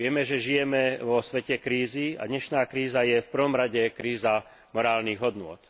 Vieme, že žijeme vo svete krízy, a dnešná kríza je v prvom rade kríza morálnych hodnôt.